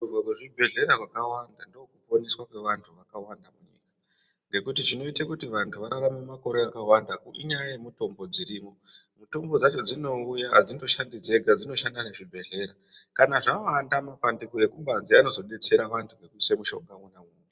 Kuvhurwa kwezvibhedhlera zvakawanda ndokuponeswa kwevantu vakawanda munyika ngekuti zvinoite kuti vantu vararame makore akawanda inyaya yemutombo dziriyo mutombo dzacho dzinouya hadzindoshandi dzega dzunoshanda nezvibhedhlera kana zvawanda mapandiko ekubanze anozodetsera vantu ngekuitse mushonga umwe naumwe